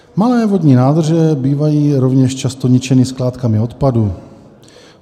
Malé vodní nádrže bývají rovněž často ničeny skládkami odpadu.